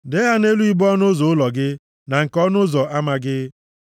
Dee ha nʼelu ibo ọnụ ụzọ ụlọ gị na nke ọnụ ụzọ ama gị.